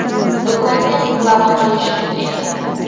do‘konni reklama qilish uchun edi.